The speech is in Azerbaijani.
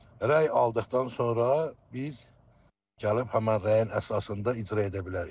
Rəy aldıqdan sonra biz gəlib həmin rəyin əsasında icra edə bilərik.